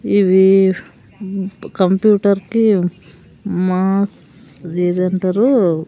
ఇవీ కంప్యూటర్ కి మా ఇది ఏదంటారు.